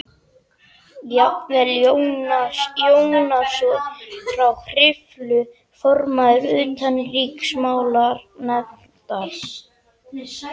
Jafnvel Jónas Jónsson frá Hriflu, formaður utanríkismálanefndar